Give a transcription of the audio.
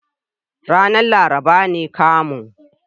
Ranar laraba ne kamun.